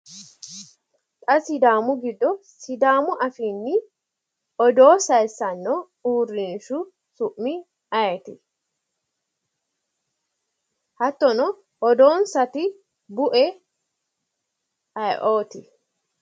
Xa sidaamu giddo sidaamu afiinni odoo sayisanno uurrinshu su'mi ayeeti? Hattono odoonsati bue ayiooti?